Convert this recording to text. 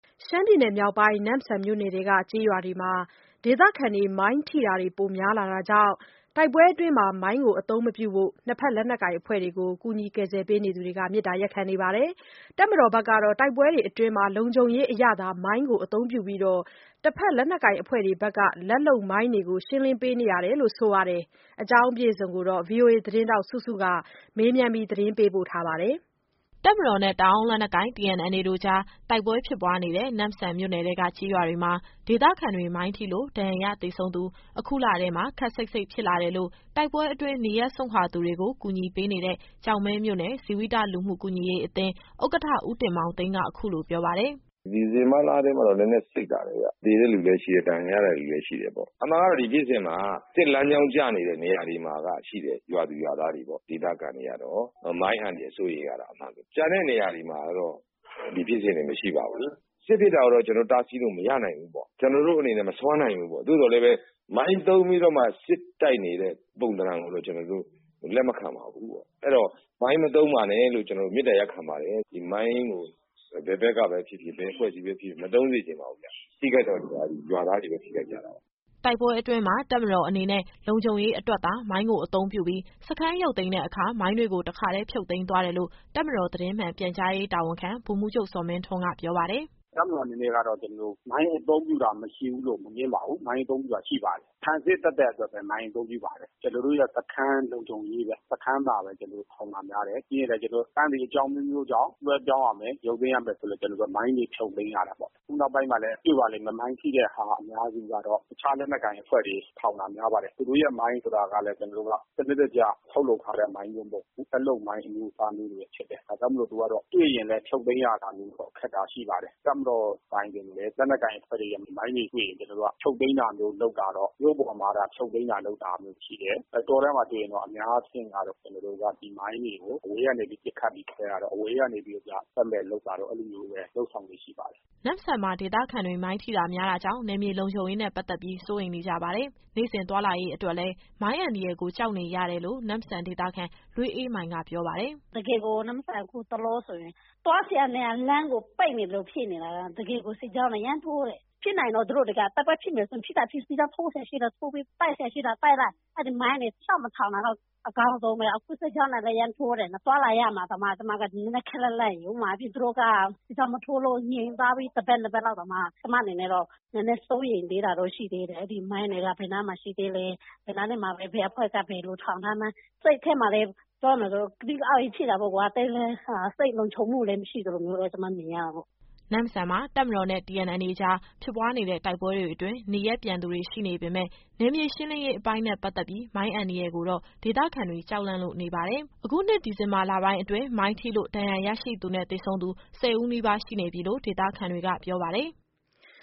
ရှမ်းပြည်မြောက်ပိုင်း၊ နမ့်ဆန်မြို့နယ်ထဲက ကျေးရွာတွေမှာ ဒေသခံတွေ မိုင်းထိတာများလာကြောင့် တိုက်ပွဲအတွင်းမှာ မိုင်းအသုံးမပြုဖို့ နှစ်ဘက် လက်နက်ကိုင်အဖွဲ့ကို မေတ္တာ ရပ်ခံနေပါတယ်။ တပ်မတော်ဘက်ကတော့ တိုက်ပွဲအတွင်း လုံခြုံရေးအရသာ မိုင်းကိုအသုံးပြုပြီး၊ တဘက်လက်နက်ကိုင်အဖွဲ့တွေရဲ့ လက်လုပ်မိုင်းတွေကို ရှင်းလင်းပေးနေတယ်လို့ ဆိုပါတယ်။ ဒီအကြောင်းအပြည့်အစုံကို ဗွီအိုအေသတင်းထောက် စုစုက မေးမြန်းပေးပို့ထားပါတယ်။ တပ်မတော်နဲ့ တအာင်းလက်နက်ကိုင် တို့ တိုက်ပွဲတွေဖြစ်ပွားနေတဲ့ နမ့်ဆန်မြို့နယ်ထဲက ကျေးရွာတွေမှာ ဒေသခံတွေမိုင်းထိလို့ ဒဏ်ရာရ၊ သေဆုံးသူ အခုလထဲမှာ ခပ်စိပ်စိပ်ဖြစ်လာတယ်လို့ တိုက်ပွဲအတွင်း နေရပ်စွန့်ခွာသူတွေကို ကူညီပေးနေတဲ့ ကျောက်မဲမြို့နယ်၊ ဇီဝိတလူမှု ကူညီရေးအသင်း ဥက္ကဋ္ဌ ဦးတင်မောင်သိန်းက အခုလိုပြောပါတယ်။ “ဒီဇင်ဘာလထဲမှာတော့ နည်းနည်း စိပ်လာတယ်ဗျ။ သေတဲ့ လူလည်း ရှိတယ်။ ဒဏ်ရာရတဲ့လူလည်း ရှိတယ်ပေါ့။ အမှန်ကတော့ ဒီဖြစ်စဉ်မှာ စစ်လမ်းကြောင်းကျနေတဲ့ နေရာတွေမှာက ရှိတဲ့ ရွာသူရွာသားတွေပေါ့။ ဒေသခံတွေကတော့ မိုင်းအန္တရာယ် စိုးရိမ်ရတာ အမှန်ပဲ။ ကျန်တဲ့နေရာတွေမှာကတော့ ဒီဖြစ်စဉ်တွေ မရှိပါဘူး။ စစ်ဖြစ်တာကိုတော့ ကျတော်တို့တားဆီးလို့ မရနိုင်ဘူးပေါ့။ ကျနော်တို့အနေနဲ့ မစွမ်းနိုင်ဘူးပေါ့။ သို့သော်လည်းပဲ မိုင်းသုံးပြီးတော့မှ စစ်တိုက်နေတဲ့ ပုံသဏ္ဍာန်ကိုတော့ ကျနော်တို့လက်မခံပါဘူး။ အဲတော့ မိုင်း မသုံးပါနဲ့လို့ ကျနော်တို့မေတ္တာ ရပ်ခံပါတယ်။ ဒီမိုင်းကို ဘယ်ဘက်ကပဲဖြစ်ဖြစ်၊ ဘယ်အဖွဲ့အစည်းပဲဖြစ်ဖြစ် မသုံးစေချင်ပါဘူးဗျ။ ထိခိုက်တဲ့သူက ရွာသားတွေပဲ ထိခိုက်ကြတာပါ။” တိုက်ပွဲအတွင်းမှာ တပ်မတော်အနေနဲ့ လုံခြုံရေးအတွက်သာ မိုင်းကို အသုံးပြုပြီး၊ စခန်းရုပ်သိမ်းတဲ့အခါ မိုင်းတွေကိုပါ တခါတည်း ဖြုတ်သိမ်းသွားတယ်လို့ တပ်မတော်သတင်းမှန် ပြန်ကြားရေးတာဝန်ခံ ဗိုလ်မှူးချုပ် ဇော်မင်းထွန်းက ပြောပါတယ်။ “တပ်မတော်အနေနဲ့ကတော့ မိုင်းအသုံးပြုတာ မရှိဘူးလို့ မငြင်းပါဘူး။ မိုင်းအသုံးပြုတာ ရှိပါတယ်။ ခံစစ်သတ်သတ်အတွက်ပဲ မိုင်းအသုံးပြုပါတယ်။ ကျနော်တို့ရဲ့စခန်း လုံခြုံရေးပဲ။ စခန်းမှာပဲ ထောင်တာများတယ်။ ပြီးရင်လည်း စခန်းတွေအကြောင်း အမျိုးမျိုးကြောင့် လွှဲပြောင်းရမယ်၊ ရုပ်သိမ်းရမယ်ဆိုရင်လည်း ကျနော်တို့ မိုင်းတွေဖြုတ်သိမ်းရတယ်ပေါ့။ ခုနောက်ပိုင်းမှာ တွေ့ပါလိမ့်မယ်။ မိုင်းထိတာအများစုက တခြားလက်နက်ကိုင်အဖွဲ့တွေ ထောင်တာ များပါတယ်။ သူတို့ရဲ့မိုင်းဆိုတာကလည်း စနစ်တကျ ထုတ်လုပ်ထားတဲ့ မိုင်းမျိုးမဟုတ်ဘူး။ လက်လုပ်မိုင်းအမျိုးအစားမျိုးတွေ ဖြစ်တယ်။ ဒါကြောင့်မို့ သူကတော့ တွေ့ရင်လည်း ဖြုတ်သိမ်းရခက်တာမျိုး ရှိတယ်။ လက်နက်ကိုင်အဖွဲ့တွေရဲ့ မိုင်းတွေတွေ့ရင်လည်း ကျနော်တို့က ဖြုတ်သိမ်းတာမျိုးလုပ်တာက မြို့ပေါ်မှာတော့ ဖြုတ်သိမ်းတာ လုပ်တာ ရှိတယ်။ တောထဲမှာတွေ့ရင် အများအားဖြင့်ကတော့ ဒီမိုင်းတွေကို အဝေးကနေ ပစ်ခတ်ပြီး ခွဲတာတို့၊ အဝေးကနေပြီးတော့ သက်မဲ့လုပ်တာတို့ အဲလိုလုပ်ဆောင်တာမျိုးတွေ ရှိပါတယ်။” နမ့်ဆန်မှာ ဒေသခံတွေ မိုင်းထိတာများတာကြောင့် နယ်မြေလုံခြုံရေးနဲ့ ပတ်သက်ပြီး စိုးရိမ်နေကြပါတယ်။ နေ့စဉ်သွားလာရေးအတွက်လည်း မိုင်းအန္တရာယ်ကို ကြောက်နေရတယ်လို့ နမ့်ဆန်ဒေသခံ လွေးအေးမိုင်က ပြောပါတယ်။ “တကယ်ကို နမ့်ဆန် အခုတလောဆိုရင် သွားစရာနေရာလမ်းကို ပိတ်နေသလိုဖြစ်နေတာ။ တကယ်ကို စစ်ကြောင်းတွေ အရမ်းထိုးတယ်။ ဖြစ်နိုင်ရင်တော့ သူတို့ဒီတခါ တိုက်ပွဲဖြစ်မယ်ဆို ဖြစ်သာဖြစ်၊ စစ်ကြောင်းထိုးစရာရှိတာ ထိုးပေး၊ တိုက်စရာရှိတာ တိုက်လိုက်။ အဲဒီမိုင်းတွေ လျှောက်မထောင်တာတော့ အကောင်းဆုံးပဲ။ အခုစစ်ကြောင်းတွေကလည်း အရမ်းထိုးတယ်။ သွားလာရမှာတောင် ကျမက ခပ်လန့်လန့်ရယ်။ ဥပမာ သူတို့က စစ်ကြောင်းမထိုးလို့ ငြိမ်သွားပြီး တပတ်၊ နှစ်ပတ်လောက်တောင်မှ ကျမအနေနဲ့တော့ နည်းနည်းစိုးရိမ်တာတော့ ရှိသေးတယ်။ အဲဒီမိုင်းတွေက ဘယ်နားမှာရှိသေးလဲ။ ဘယ်နားလေးမှာ ဘယ်အဖွဲ့က ဘယ်လိုထောင်ထားမှန်း။ စိတ်ထဲမှာလည်း ပြောရမယ်ဆို ကသိကအောင့်ကြီး ဖြစ်တာပေါ့။ သိပ်လည်းစိတ်လုံခြုံမှု မရှိသလိုပေါ့ ကျမနေရတာက။” နမ့်ဆန်မှာ တပ်မတော်နဲ့ TNLA ကြား ဖြစ်ပွားနေတဲ့ တိုက်ပွဲတွေအတွင်း နေရပ်ပြန်သူတွေ ရှိနေပေမယ့် နယ်မြေရှင်းလင်းရေးအပိုင်းနဲ့ ပတ်သက်ပြီး မိုင်းအန္တရာယ်ကိုတော့ ဒေသခံတွေ ကြောက်လန့်လို့နေပါတယ်။ အခုနှစ် ဒီဇင်ဘာလပိုင်းအတွင်း မိုင်းထိလို့ ဒဏ်ရာရရှိသူနဲ့ သေဆုံးသူ ၁၀ ဦးနီးပါးရှိနေပြီလို့ ဒေသခံတွေက ပြောပါတယ်။